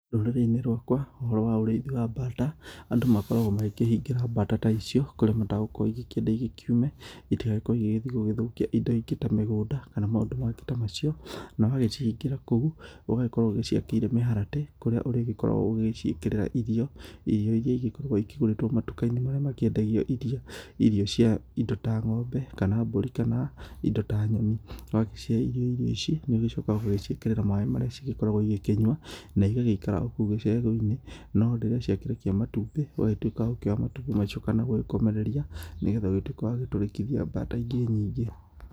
Rũrĩrĩ-inĩ rwakwa, ũhoro wa ũrĩithi wa bata, andũ makoragwo magĩkĩhingĩra bata ta icio kũrĩa matagũkorwo igĩkĩenda ikorwo ikiume, itigagĩkorwo igĩgĩthi gũthũkia indo ingĩ ta mĩgũnda kana maũndũ mangĩ ta macio. Na wagĩcihingĩra kũu ũgagĩkorwo ũgĩciakĩire mĩharatĩ, kũrĩa ũrĩgĩkoragwo ũgĩgĩciĩkĩrĩra irio, irio irĩa ikoragwo ikĩgũrĩtwo matuka-inĩ marĩa makĩendagio irio. Irio cia indo ta ngombe, kana mbũri, kana indo ta nyoni. Na wagĩcihe irio ici, nĩ ũgĩcokaga ũgaciĩkĩrĩra maaĩ marĩa cigĩkoragwo igĩkĩnyua, na igagĩikara kũu gicegu-inĩ. No rĩrĩa cia kĩrekia matumbĩ, ũgagĩtuĩka wa gũkĩoya matumbĩ macio, kana gũgĩkomereria, nĩgetha ũgĩtuĩke wa gũtũrĩkithia bata ingĩ nyingĩ.